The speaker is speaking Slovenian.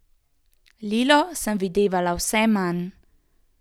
Lilo sem videvala vse manj.